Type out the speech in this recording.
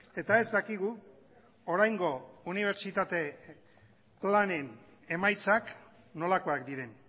eta ez dakigu oraingo unibertsitate planen emaitzak nolakoak diren